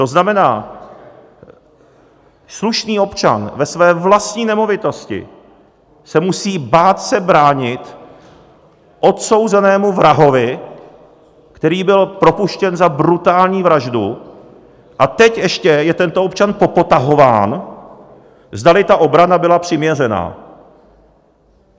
To znamená, slušný občan ve své vlastní nemovitosti se musí bát se bránit odsouzenému vrahovi, který byl propuštěn za brutální vraždu, a teď ještě je tento občan popotahován, zdali ta obrana byla přiměřená.